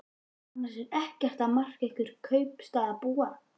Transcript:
Annars er ekkert að marka ykkur kaupstaðarbúa.